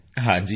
ਹਾਂ ਜੀ ਸਰ